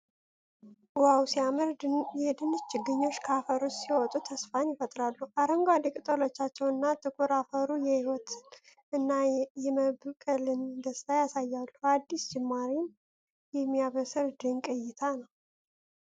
ዋው ሲያምር! ድንች ችግኞች ከአፈር ውስጥ ሲወጡ ተስፋን ይፈጥራሉ። አረንጓዴ ቅጠሎቻቸው እና ጥቁር አፈሩ የህይወትን እና የመብቀልን ደስታ ያሳያሉ። አዲስ ጅማሬን የሚያበስር ድንቅ እይታ ነው!